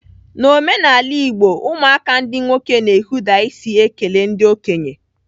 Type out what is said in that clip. N'omenala Igbo, ụmụaka ndị nwoke na-ehuda isi ekele ndị okenye.